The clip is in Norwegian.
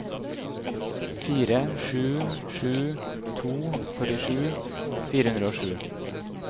fire sju sju to førtisju fire hundre og sju